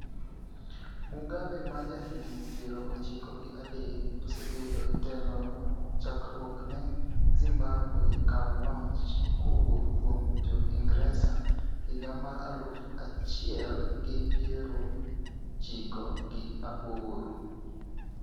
Mugabe ma jahigni piero chiko gi adek osebedo e telo chakruok ne Zimbabwe kaw loch kowuok kuom jo ingresa higa mar aluf achiel gi piero chiko gi aboro